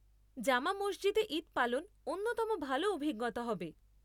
জামা মসজিদে ঈদ পালন অন্যতম ভালো অভিজ্ঞতা হবে।